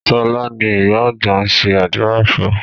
Sọlá ni ìyá àgbà ń ṣe àdúrà fún